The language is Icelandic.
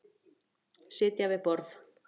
Sitja við borð